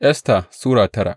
Esta Sura tara